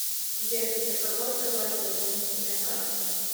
сбер для кого открывается дополнительная карта